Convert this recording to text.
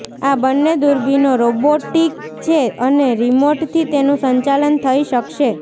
આ બંને દૂરબીનો રોબોટિક છે અને રિમોટથી તેનું સંચાલન થઈ શકશે